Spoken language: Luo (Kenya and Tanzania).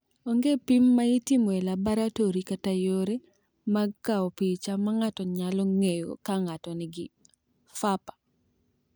Onge pim ma itimo e laboratori kata yore mag kawo picha ma ng’ato nyalo ng’eyo ka ng’ato nigi PFAPA.